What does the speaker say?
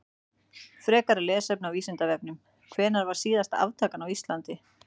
Frekara lesefni á Vísindavefnum: Hvenær var síðasta aftakan á Íslandi?